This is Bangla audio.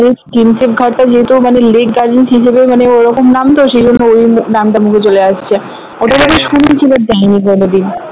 আরে প্রিন্সেপ ঘাটটা যেহেতু লেক গার্ডেনস হিসেবে মানে ওরকম নাম তো সেই জন্য নামটা মুখে চলে আসছে ওটা আমি শুনেছি but যাইনি কোনোদিন